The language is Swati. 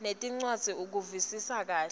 nencwadzi ukuvisisa kahle